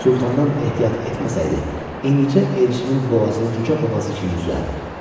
Sultandan ehtiyat etməsəydi, indicə Elçinin boğazını cücə boğazı kimi üzərdi.